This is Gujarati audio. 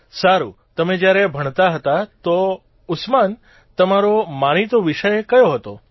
સારૂં તમે જયારે ભણતા હતા તો ઉસ્માન તમારો માનીતો વિષય કયો હતો